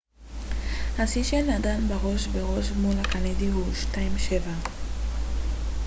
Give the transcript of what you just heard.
השיא של נדאל בראש בראש מול הקנדי הוא 7-2